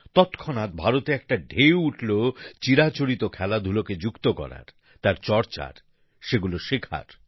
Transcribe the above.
তৎক্ষণাৎ ভারতে একটা ঢেউ উঠল চিরাচরিত খেলাধুলোকে যুক্ত করার তার চর্চার সেগুলো শেখার